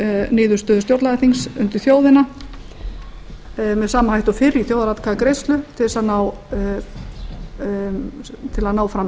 niðurstöðu stjórnlagaþings undir þjóðina með sama hætti og fyrr í þjóðaratkvæðagreiðslu til að ná